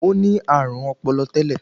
Ó ní àrùn ọpọlọ tẹ́lẹ̀